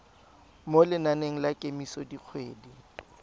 mo lenaneng la kemiso dikgwedi